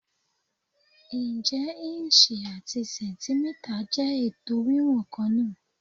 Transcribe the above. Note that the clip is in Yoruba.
Ǹjẹ́ ìǹṣì àti sẹ̀ǹtímítà jẹ́ ètò wíwọ̀n kan náà?